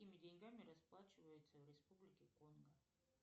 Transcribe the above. какими деньгами расплачиваются в республике конго